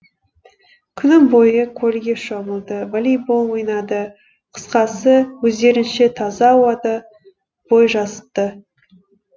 күні бойы көлге шомылды волейбол ойнады қысқасы өздерінше таза ауада бой жазысты